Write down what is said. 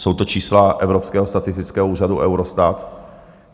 Jsou to čísla Evropského statistického úřadu, Eurostatu.